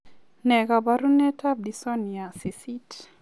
Nee kabarunoikab Dystonia 8?